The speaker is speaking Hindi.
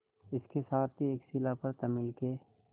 इसके साथ ही एक शिला पर तमिल के